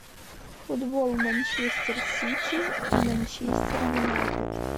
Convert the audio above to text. футбол манчестер сити и манчестер юнайтед